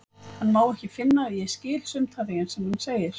Hann má ekki finna að ég skil sumt af því sem hann segir.